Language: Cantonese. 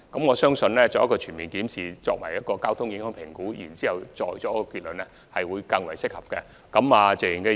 我相信，先進行全面檢視及交通影響評估再下結論，會較為適合。